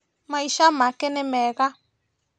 Maica make ni mega